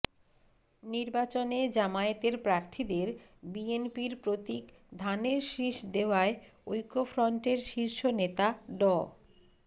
নির্বাচনে জামায়াতের প্রার্থীদের বিএনপির প্রতীক ধানের শীষ দেওয়ায় ঐক্যফ্রন্টের শীর্ষ নেতা ড